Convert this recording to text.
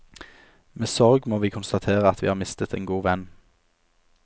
Med sorg må vi konstatere at vi har mistet en god venn.